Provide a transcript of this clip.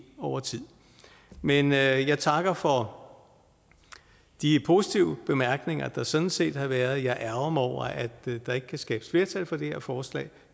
over tid men jeg takker for de positive bemærkninger der sådan set har været men jeg ærgrer mig over at der ikke kan skabes flertal for det her forslag